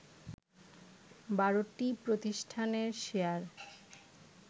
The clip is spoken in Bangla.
১২টি প্রতিষ্ঠানের শেয়ার